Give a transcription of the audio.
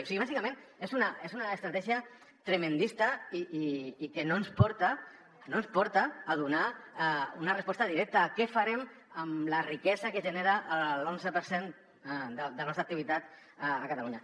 o sigui bàsicament és una estratègia tremendista i que no ens porta a donar una resposta directa a què farem amb la riquesa que genera l’onze per cent de la nostra activitat a catalunya